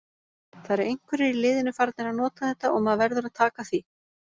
Það eru einhverjir í liðinu farnir að nota þetta og maður verður að taka því.